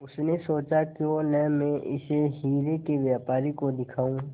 उसने सोचा क्यों न मैं इसे हीरे के व्यापारी को दिखाऊं